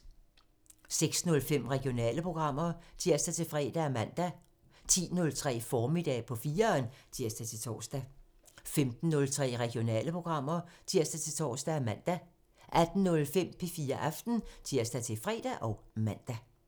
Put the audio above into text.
06:05: Regionale programmer (tir-fre og man) 10:03: Formiddag på 4'eren (tir-tor) 15:03: Regionale programmer (tir-tor og man) 18:05: P4 Aften (tir-fre og man)